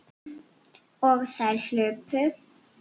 Og þær hlupu.